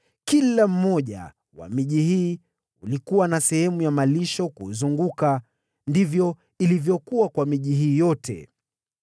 Kila mmoja wa miji hii ulikuwa na sehemu ya malisho kuuzunguka; ndivyo ilivyokuwa kwa miji hii yote.